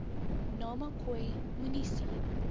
nama khoi munisi